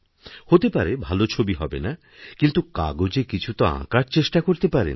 হতে পারে ভালো ছবি হবে না কিন্তু কাগজে কিছু তো আঁকার চেষ্টা করতে পারেন